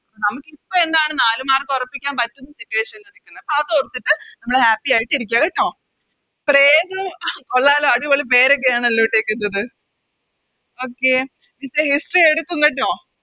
നമുക്കിപ്പൊ എന്താണ് നാല് Mark ഒറപ്പിക്കാൻ പറ്റുന്ന Situations ആണ് നിക്കുന്നെ അതോർത്തിട്ട് നമ്മള് Happy ആയിട്ട് ഇരിക്ക കേട്ടോ കൊള്ളാലോ അടിപൊളി പേരൊക്കെയാണല്ലോ ഇട്ടേക്കുന്നത് Okay teacher history എടുക്കും കേട്ടോ